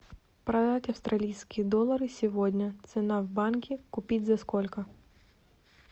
продать австралийские доллары сегодня цена в банке купить за сколько